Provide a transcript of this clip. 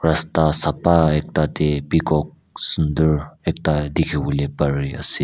rasta sapha ekta teh peacock sundor ekta dikhi wole pari ase.